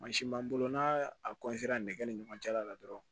Mansin b'an bolo n'a nɛgɛ ni ɲɔgɔn cɛla la dɔrɔn